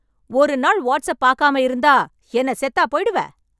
ஒரு நாள் WhatsApp பாக்காம இருந்தா, என்ன செத்தா போய்டுவே...